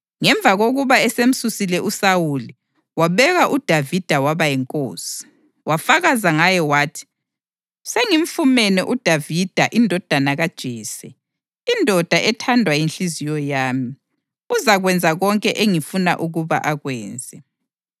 Ngemva kokuba esemsusile uSawuli, wabeka uDavida waba yinkosi. Wafakaza ngaye wathi, ‘Sengifumane uDavida indodana kaJese, indoda ethandwa yinhliziyo yami; uzakwenza konke engifuna ukuba akwenze.’